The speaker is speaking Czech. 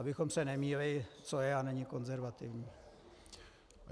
Abychom se nemýlili, co je a není konzervativní.